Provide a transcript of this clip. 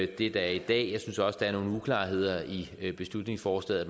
det der er i dag jeg synes også der er nogle uklarheder i beslutningsforslaget